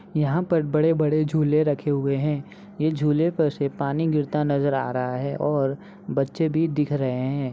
यहां पर बड़े-बड़े झूले रखे हुए है ये झूले पर से पानी गिरता हुआ नजर आ रहा है बच्चे भी दिख रहे है।